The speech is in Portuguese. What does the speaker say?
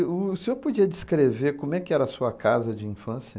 Uh, o senhor podia descrever como é que era a sua casa de infância?